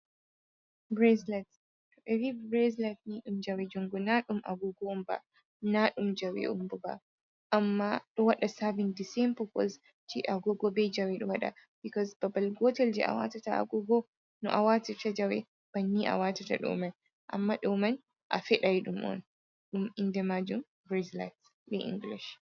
Braselat to ɓe vi braislat ni ɗum jawe jungu na ɗum agogo on ba, na ɗum jawe on bo ba, amma ɗo waɗa saen den popos je agogo bei jawe ɗo waɗa, bikos babbal gotel je a watata agogo no a watata jawe bannin a watata ɗo man, amma ɗo man a feɗan ɗum on, ɗum inde majum braslat be inglish